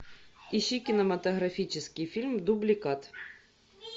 ищи кинематографический фильм дубликат